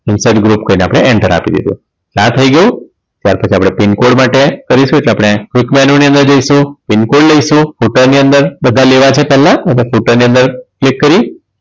Insert group કરીને આપણે enter આપી દીધું આ થઈ ગયુ ત્યાર પછી આપણે pincode માટે કરીશું આપણે pic menu ની અંદર જઈશું pincode લઈશું footer ની અંદર બધા લેવા છે પહેલા footer ની અંદર click કરી